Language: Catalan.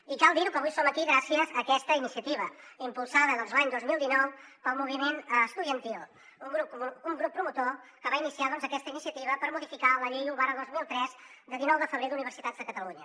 i cal dir ho que avui som aquí gràcies a aquesta iniciativa impulsada l’any dos mil dinou pel moviment estudiantil un grup promotor que va iniciar aquesta iniciativa per modificar la llei un dos mil tres de dinou de febrer d’universitats de catalunya